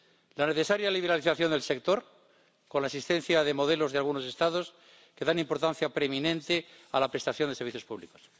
la necesaria liberalización del sector con la existencia de modelos de algunos Estados que dan importancia preeminente a la prestación de servicios públicos.